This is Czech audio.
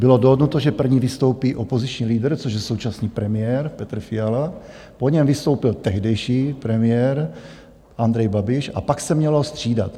Bylo dohodnuto, že první vystoupí opoziční lídr, což je současný premiér Petr Fiala, po něm vystoupil tehdejší premiér Andrej Babiš a pak se mělo střídat.